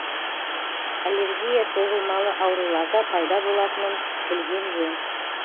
аллергия созылмалы ауруларда пайда болатынын білген жөн